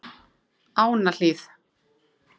Ánahlíð